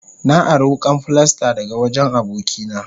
Na ari wukan filasta daga wajen abokina.